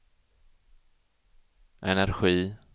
energi